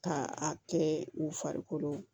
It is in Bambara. K'a kɛ u farikolo